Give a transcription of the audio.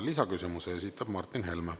Lisaküsimuse esitab Martin Helme.